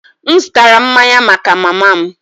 M zụtara mmanya maka mama m